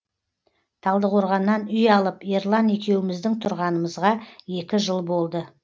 талдықорғаннан үй алып ерлан екеуміздің тұрғанымызға екі жыл болды